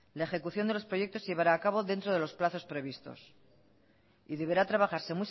la ejecución de los proyectos se llevará a cabo dentro de los plazos previstos y deberá trabajarse